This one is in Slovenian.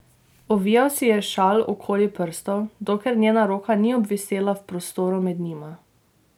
Ovijal si je šal okrog prstov, dokler njena roka ni obvisela v prostoru med njima.